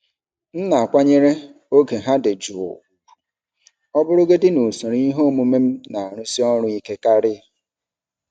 M na-akwanyere oge ha dị jụụ ùgwù, ọ bụrụgodị na usoro ihe omume m na-arụsi ọrụ ike karị.